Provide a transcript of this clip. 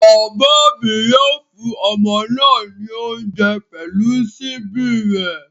Bàbá mi yóò fún ọmọ náà ní oúnjẹ pẹ̀lú ṣíbí rẹ̀